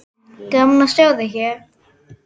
Gaman að sjá þig hér!